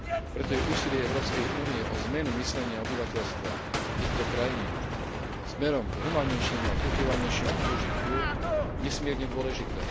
Preto je úsilie Európskej únie o zmenu myslenia obyvateľstva týchto krajín smerom k humánnejšiemu a kultivovanejšiemu súžitiu nesmierne dôležité.